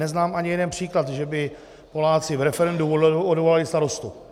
Neznám ani jeden příklad, že by Poláci v referendu odvolali starostu.